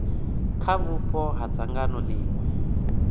kha vhupo ha dzangano ḽiṅwe